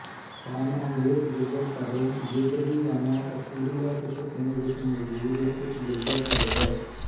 ਸਾਨ Andres ਗਿਰਜਾਘਰ Bedriñana Asturias Spain ਵਿੱਚ ਮੌਜੂਦ ਇੱਕ ਗਿਰਜਾਘਰ ਹੈ